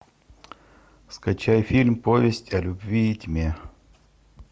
скачай фильм повесть о любви и тьме